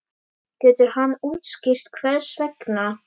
Getur hann útskýrt hvers vegna?